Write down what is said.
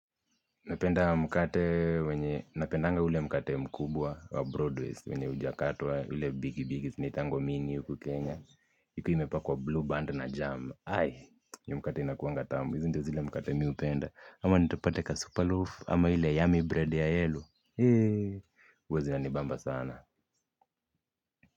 Napenda mkate wenye napendanga ule mkate mkubwa wa broadways wenye hujakatwa ile bigi bigi zinaitangwa mini huku Kenya ikiwa imepakwa blue band na jam hai hiyo mkate inakuanga tamu hizi ndo zile mkate mimi hupenda ama nitupate ka superloaf ama ile yummy bread ya yellow. Heee huwa zina nibamba sana.